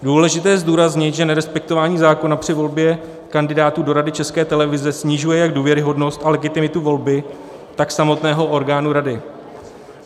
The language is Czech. Důležité je zdůraznit, že nerespektování zákona při volbě kandidátů do Rady České televize snižuje jak důvěryhodnost a legitimitu volby, tak samotného orgánu rady.